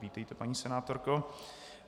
Vítejte, paní senátorko.